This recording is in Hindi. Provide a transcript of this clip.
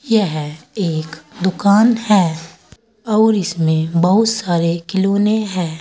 यह एक दुकान है और इसमें बहुत सारे खिलौने है।